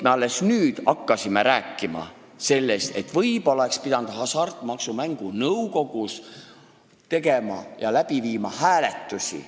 Me alles nüüd hakkasime rääkima sellest, et võib-olla oleks pidanud Hasartmängumaksu Nõukogus tegema hääletusi.